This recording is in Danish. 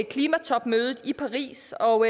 klimatopmødet i paris og